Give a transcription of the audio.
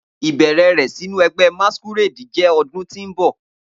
Ibẹrẹ rẹ sinu ẹgbẹ masquerade jẹ ọdun ti n bọ